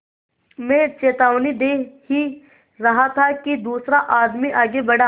मैं चेतावनी दे ही रहा था कि दूसरा आदमी आगे बढ़ा